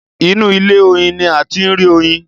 Inú ilé- oyin ní a ti ń rí oyin.